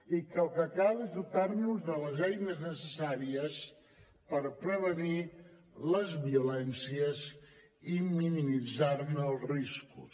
i que el que cal és dotar nos de les eines necessàries per prevenir les violències i minimitzar ne els riscos